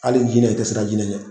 Hali jinɛ, i ti siran jinɛ ɲɛ